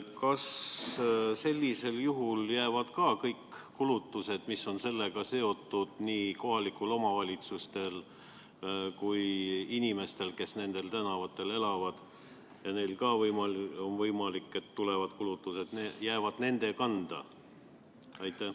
Kas sellisel juhul jäävad kõik kulutused, mis on sellega seotud nii kohalikel omavalitsustel kui ka inimestel, kes nendel tänavatel elavad ja on võimalik, et neil tekivad kulutused, nende kanda?